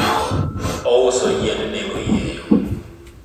ouso yiend nego oyieyo